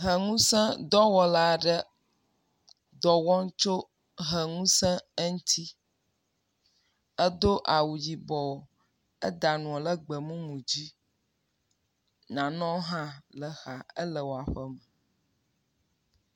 Hɛ ŋusẽ dɔwɔla aɖe dɔwɔm tso hɛ ŋusẽ eŋuti, edo awu yibɔ, eda nua ɖe gbemumu dzi, nanewo hã le exa, ele eƒe me